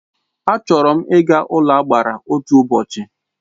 A chọrọ m Ị́ ga n'ụlọagbara otu ụbọchị